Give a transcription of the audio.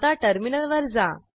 आता टर्मिनलवर जा